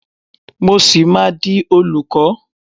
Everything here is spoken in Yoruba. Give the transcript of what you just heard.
Mo ṣì máa di olùkọ́.